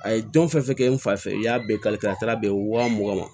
A ye don fɛn fɛn kɛ n fa fɛ i y'a bɛɛ ka a taara bɛn wa mugan ma